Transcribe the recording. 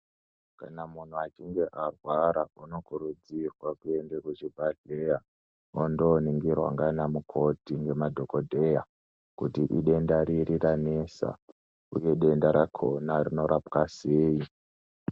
Kana muntu achinge arwara anokurudzirwe kuende kuchibhadhleya mwondoningirwa ndiana mukoti nemadhokodheya kuti idenda riri ranesa uye denda rakhona rinorapwa sei.